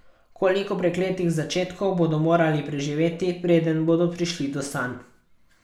Koliko prekletih začetkov bodo morali preživeti, preden bodo prišli do sanj?